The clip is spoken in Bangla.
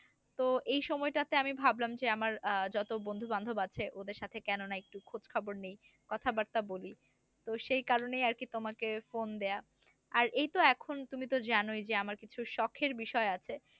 তো এই সময়টাতে আমি ভাবলাম যে আমার আহ যত বন্ধু বান্ধব আছে ওদের সাথে কোন না একটু খোজ খবর নেই কথা বর্তা বলি তো সেই কারণেই আরকি তোমাকে ফোন দেয়া। আর এই তো এখন তুমি তো জানোই যে আমার কিছু শখের বিষয় আছে